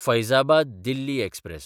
Faizabad Delhi express